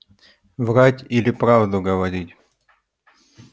врать или правду говорить